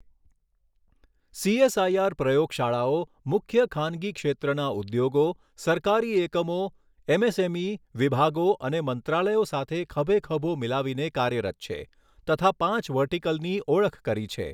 CSIR પ્રયોગશાળાઓ મુખ્ય ખાનગી ક્ષેત્રનાં ઉદ્યોગો, સરકારી એકમો, એમએસએમઈ વિભાગો અને મંત્રાલયો સાથે ખભેખભો મિલાવીને કાર્યરત છે તથા પાંચ વર્ટિકલની ઓળખ કરી છે